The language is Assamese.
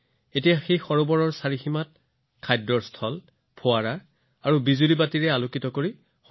এতিয়া সেই পুখুৰীৰ পাৰত থকা retaining wall boundary wall food court fountain আৰু আলোকসজ্বাৰ দৰে বহু ব্যৱস্থা কৰা হৈছে